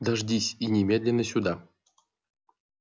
дождись и немедленно сюда